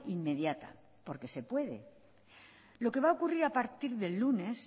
inmediata porque se puede lo que va a ocurrir a partir del lunes